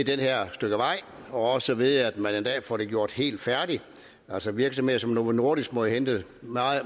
det her stykke vej og også ved at man en dag får det gjort helt færdigt altså virksomheder som novo nordisk må jo hente